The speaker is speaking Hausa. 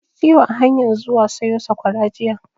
Na ji ciwo a hanyan zuwa sayo sakwara jiya